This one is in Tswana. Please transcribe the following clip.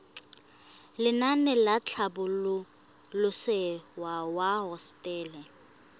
lenaane la tlhabololosewa ya hosetele